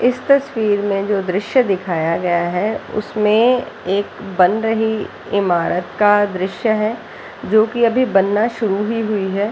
इस तस्वीर में जो दृस्य दिखाया गया है उसमें एक बन रही ईमारत का दृस्य है जो की अभी बनना शुरू ही हुई है।